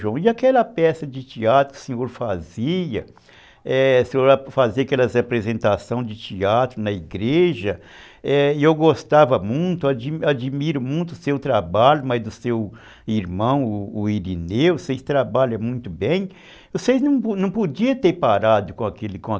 João, e aquela peça de teatro que o senhor fazia, é, o senhor fazia aquelas apresentações de teatro na igreja, e eu gostava muito, admiro muito o seu trabalho, mas do seu irmão, o Irineu, vocês trabalham muito bem, vocês não podiam ter parado com aquele